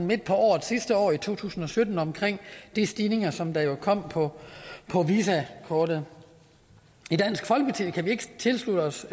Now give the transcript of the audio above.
midt på året sidste år i to tusind og sytten om de stigninger som der jo kom på på visa kortet i dansk folkeparti kan vi ikke tilslutte os